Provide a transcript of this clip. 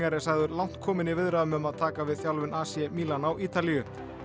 er sagður langt kominn í viðræðum um að taka við þjálfun AC Milan á Ítalíu þetta